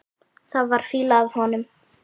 Það var fýla af honum.